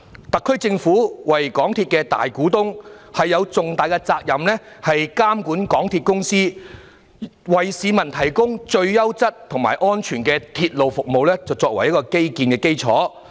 特區政府是港鐵公司的大股東，有重大責任監管港鐵公司，為市民提供最優質和安全的鐵路服務作為基建的基礎。